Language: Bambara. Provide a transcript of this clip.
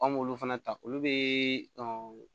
An m'olu fana ta olu be